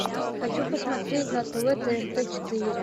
хочу посмотреть на тв тнт четыре